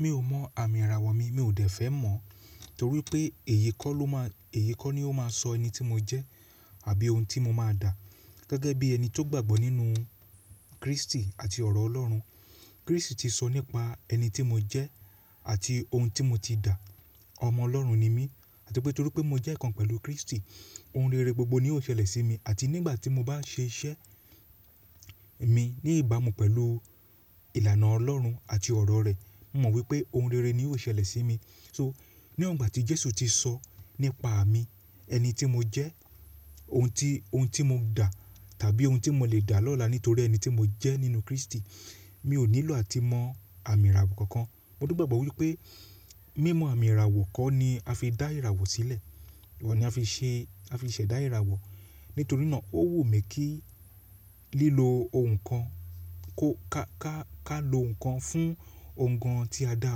Mi ò mọ àmì ìràwọ̀ mi, mi ò dẹ̀ fẹ́ mọ̀ torí pé èyí kọ́ ló máa, èyí kọ́ ni ó máa sọ ẹni tí mo jẹ́ àbí ohun tí mo máa dà. Gẹ́gẹ́ bí ẹni tó gbàgbọ́ nínú Kristi àti ọ̀rọ̀ Ọlọ́run. Kristi ti sọ nípa ẹni tí mo jẹ́ àti ohun tí mo ti dà. Ọmọ Ọlọ́run ni mí àti pé torí pé mo jẹ́ ìkan pẹ̀lú Kristi, ohun rere gbogbo ni yóò ṣẹlẹ̀ sí mi àti nígbà tí mo bá ṣe iṣẹ́ mi ní ìbámu pẹ̀lú ìlànà Ọlọ́run àti ọ̀rọ̀ rẹ̀, mo mọ̀ wípé ohun rere ni yóò ṣẹlẹ̀ sí mi. So, níwọ̀n ìgbà tí Jesu ti sọ nípa à mi, ẹni tí mo jẹ́, ohun ti, ohun tí mo dà tàbí ohun tí mo le dà lọ́la nítorí ẹni tí mo jẹ́ nínú Kristi, mi ò nílò àti mọ àmì ìràwọ̀ kankan. Mo gbàgbọ́ wípé mímọ àmì ìràwọ̀ kọ́ ni a fi dá ìràwọ̀ sílẹ̀. Oun ni a fi ṣe, a fi ṣẹ̀ dá ìràwọ̀. Nítorí náà ó wù mí kí lílọ ohun kan kó ka, ka, ka lo ohun kan fún òǹgàn tí a dà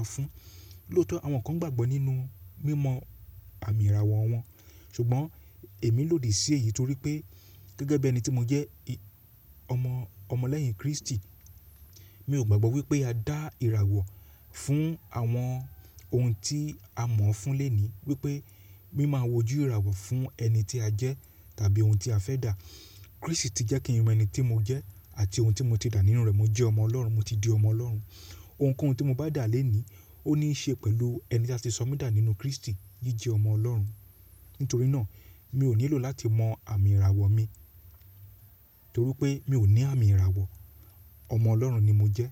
á fún. Lótọ̀, àwọn kan gbàgbọ́ nínú mímọ àmì ìràwọ̀ wọn, ṣùgbọ́n èmi lòdì sí èyí torí pé gẹ́gẹ́ bí ẹni tí mo jẹ́, ọmọ, ọmọ lẹ́yìn Kristi, mi ò gbàgbọ́ wípé a dá ìràwọ̀ fún àwọn ohun tí a mọ̀ fun léèní wípé mí máa wojú ìràwọ̀ fún ẹni tí a jẹ́ tàbí ohun tí a fẹ́ dà. Kristi ti jẹ́ kí n mọ ẹni tí mo jẹ́ àti ohun tí mo ti dà nínú rẹ̀. Mo jẹ́ ọmọ Ọlọ́run, mo ti di ọmọ Ọlọ́run. Òǹkọ́hun tí mo bá dà lónìí ó ní í ṣe pẹ̀lú ẹni tí a ti sọ mí dà nínú Kristi, jíjẹ ọmọ Ọlọ́run. Nítorí náà mi ò nílò láti mọ àmì ìràwọ̀ mi torí pé mi ò ní àmì ìràwọ̀. Ọmọ Ọlọ́run ni mo jẹ́